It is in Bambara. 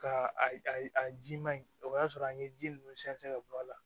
Ka a ji ma ɲi o y'a sɔrɔ an ye ji ninnu sɛn ka bɔ a la